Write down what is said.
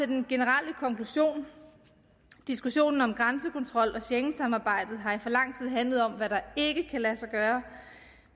den generelle konklusion diskussionen om grænsekontrol og schengensamarbejdet har i for lang tid handlet om hvad der ikke kan lade sig gøre